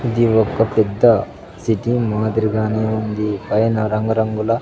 ఇది ఒక పెద్ద సిటీ మాదిరిగానే ఉంది పైన రంగు రంగుల --